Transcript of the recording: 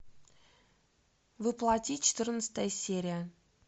во плоти четырнадцатая серия